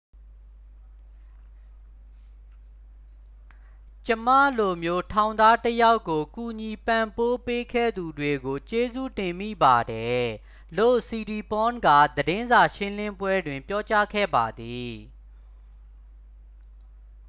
"""ကျွန်မလိုမျိုးထောင်သားတစ်ယောက်ကို ကူညီပံ့ပိုးပေးခဲ့သူတွေကို ကျေးဇူးတင်မိပါတယ်၊" လို့ siriporn က သတင်းစာရှင်းလင်းပွဲတွင် ပြောကြားခဲ့ပါသည်။